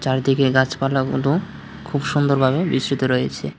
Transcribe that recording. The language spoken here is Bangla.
চারিদিকে গাছপালাগুলো খুব সুন্দরভাবে বিস্তৃত রয়েছে।